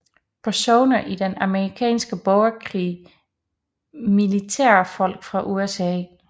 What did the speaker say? Personer i den amerikanske borgerkrig Militærfolk fra USA